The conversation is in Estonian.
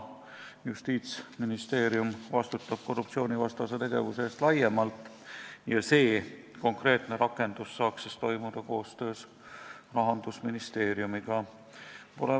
Justiitsministeerium vastutab korruptsioonivastase tegevuse eest laiemalt ja see konkreetne rakendus saaks toimida koostöös Rahandusministeeriumiga.